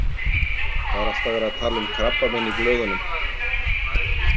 Það er alltaf verið að tala um krabbamein í blöðunum.